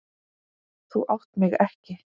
Þú átt mig ekki.